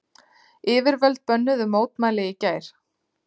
Yfirvöld bönnuðu mótmæli í gær